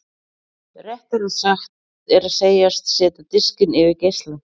Réttara er að segjast setja diskinn yfir geislann.